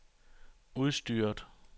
udstyret